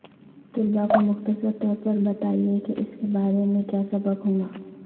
طلباء کو مختصر طور پر بتائیں کہ اس کے بارے میں کیا سبق ہوگا